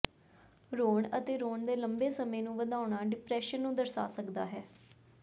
ਰੋਣ ਅਤੇ ਰੋਣ ਦੇ ਲੰਬੇ ਸਮੇਂ ਨੂੰ ਵਧਾਉਣਾ ਡਿਪਰੈਸ਼ਨ ਨੂੰ ਦਰਸਾ ਸਕਦਾ ਹੈ